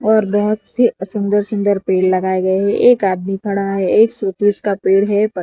और बहोत से सुंदर सुंदर पेड़ लगाए गए है एक आदमी खड़ा है एक शोपीस का पेड़ है ब --